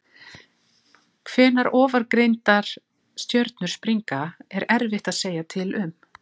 Hvenær ofangreindar stjörnur springa er erfitt að segja til um.